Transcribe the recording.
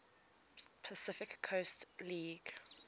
pacific coast league